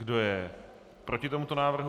Kdo je proti tomuto návrhu?